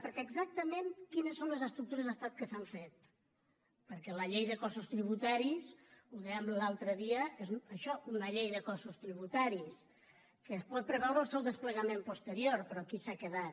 perquè exactament quines són les estructures d’estat que s’han fet perquè la llei de cossos tributaris ho dèiem l’altre dia és això una llei de cossos tributaris que es pot preveure el seu desplegament posterior però aquí s’ha quedat